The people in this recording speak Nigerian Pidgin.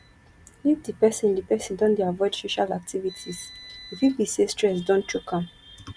if di person di person don dey avoid social activities e fit be sey stress don choke am